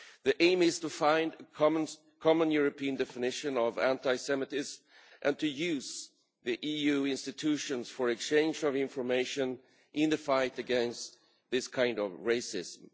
The aim is to find a common European definition of anti Semitism and to use the EU institutions for exchange of information in the fight against this kind of racism.